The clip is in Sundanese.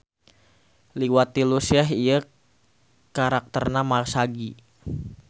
Liwat tilu Syekh ieu karakterna masagi.